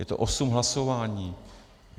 Je to osm hlasování.